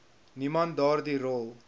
niemand daardie rol